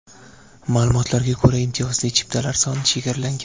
Ma’lumotlarga ko‘ra, imtiyozli chiptalar soni chegaralangan.